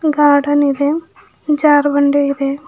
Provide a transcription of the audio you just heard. Garden ಇದೆ ಜಾರು ಬಂಡಿ ಇದೆ.